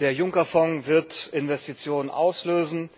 Der Juncker Fonds wird Investitionen auslösen,